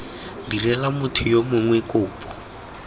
direla motho yo mongwe kopo